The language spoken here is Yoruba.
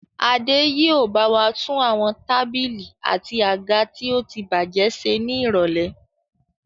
Adé yìí ó bawa tún àwọn tábìlì àti àga tí ótibájẹ́ ṣe ni irọ̀lẹ́.